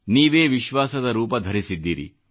ನೀವೇ ವಿಶ್ವಾಸದ ರೂಪ ಧರಿಸಿದ್ದೀರಿ